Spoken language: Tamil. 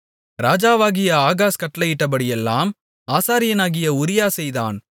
ராஜாவாகிய ஆகாஸ் கட்டளையிட்டபடியெல்லாம் ஆசாரியனாகிய உரியா செய்தான்